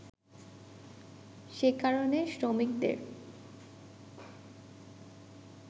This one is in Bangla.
সেকারণে শ্রমিকদের